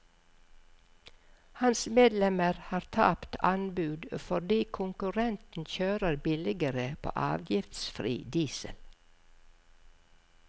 Hans medlemmer har tapt anbud fordi konkurrenten kjører billigere på avgiftsfri diesel.